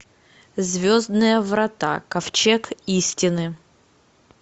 звездные врата ковчег истины